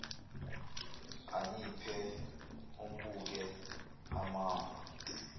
anyiphe ambuke imamba